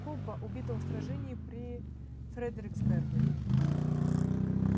кобба убитого в сражении при фредериксберге